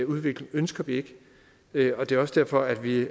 udvikling ønsker vi ikke og det er også derfor at vi